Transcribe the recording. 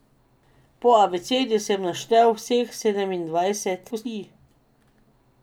Po abecedi sem naštel vseh sedemindvajset kosti.